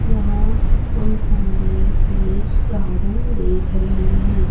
यहां हम सामने एक गार्डन देख रहे हैं।